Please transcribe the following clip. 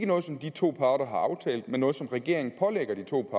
noget som de to parter har aftalt men med noget som regeringen pålægger de to